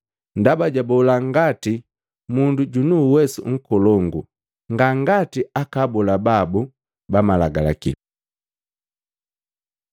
Ndaba jabola ngati mundu junu uwesu nkolongu, nga ngati aka abola babu ba malagalaki.